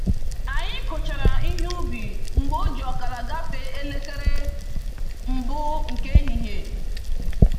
Anyi kuchara ihe ubi mgbe oji ọkara gafe elekere mbụ nke ehihie